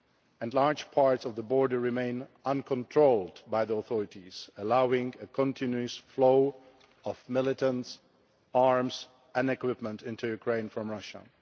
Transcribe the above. and large parts of the border remain outside of the control of the authorities, allowing a continuous flow of militants, arms and equipment into Ukraine from Russia.